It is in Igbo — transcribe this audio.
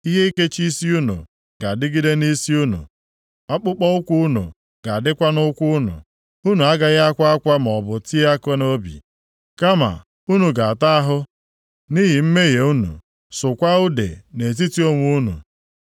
Ihe ikechi isi unu ga-adịgide nʼisi unu, akpụkpọụkwụ unu ga-adịkwa nʼụkwụ unu. Unu agaghị akwa akwa maọbụ tie aka nʼobi, kama unu ga-ata ahụ nʼihi mmehie unu, sụkwaa ude nʼetiti onwe unu.